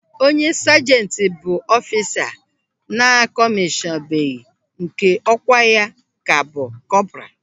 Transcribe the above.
Onye sajenti bụ ọfisa a na-akọmishọnbeghi nke ọkwa ya ka kọpra.